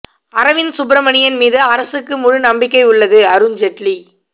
அரவிந்த் சுப்பிரமணியன் மீது அரசுக்கு முழு நம்பிக்கை உள்ளது அருண் ஜேட்லி